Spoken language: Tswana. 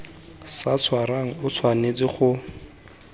sa tshwarang o tshwanetse go